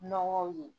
Nɔgɔw ye